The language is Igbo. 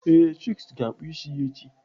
Ee, Chuks ga-akpụ isi ya echi